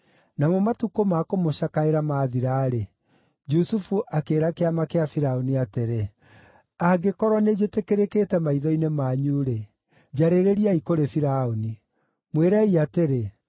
Namo matukũ ma kũmũcakaĩra maathira-rĩ, Jusufu akĩĩra kĩama kĩa Firaũni atĩrĩ, “Angĩkorwo nĩnjĩtĩkĩrĩkĩte maitho-inĩ manyu-rĩ, njarĩrĩriai kũrĩ Firaũni. Mwĩrei atĩrĩ,